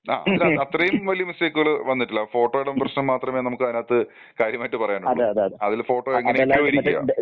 ആ അതില് അത്രേം വലിയ മിസ്റ്റേക്ക്കുക്കൾ വന്നിട്ടില്ല. ഫോട്ടോയുടെ പ്രശ്നം മാത്രമേ നമ്മുക്ക് അതിനകത്ത് കാര്യമായിട്ട് പറയാൻ ഒള്ളു. അതിൽ ഫോട്ടോ എങ്ങനെയൊക്കെയോ ഇരിക്ക.